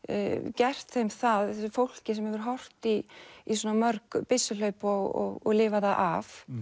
gert þeim það fólki sem hefur horft í í svona mörg byssuhlaup og lifað það af